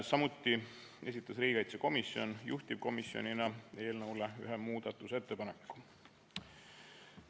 Samuti esitas riigikaitsekomisjon juhtivkomisjonina ühe muudatusettepaneku.